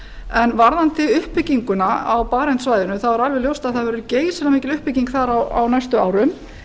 en varðandi uppbygginguna á barentssvæðinu þá er alveg ljóst að það verður geysilega mikil uppbygging þar á næstu árum